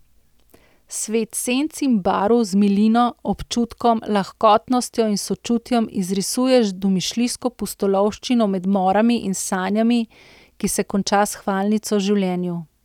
Svet senc in barv z milino, občutkom, lahkotnostjo in sočutjem izrisuje domišljijsko pustolovščino med morami in sanjami, ki se konča s hvalnico življenju.